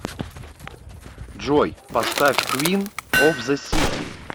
джой поставь квин оф зе сити